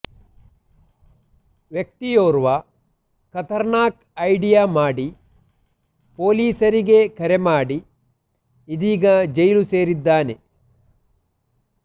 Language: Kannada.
ವ್ಯಕ್ತಿಯೋರ್ವ ಖತರ್ನಾಕ್ ಐಡಿಯಾ ಮಾಡಿ ಪೊಲೀಸರಿಗೆ ಕರೆ ಮಾಡಿ ಇದೀಗ ಜೈಲು ಸೇರಿದ್ದಾನೆ